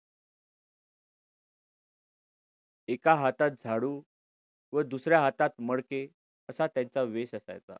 एका हातात झाडू व दुसऱ्या हातात मडके असा त्यांचा वेश असायचा.